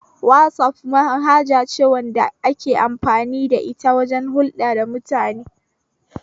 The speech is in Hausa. Wazaf manhaja ce da ake amfani da ita wajen hulɗa da mutane